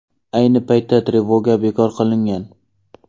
Ayni paytda trevoga bekor qilingan.